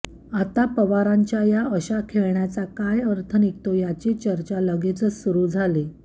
आता पवारांच्या या अशा खेळण्याचा काय अर्थ निघतो याची चर्चा लगेचच सुरु झाली